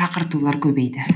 шақыртулар көбейді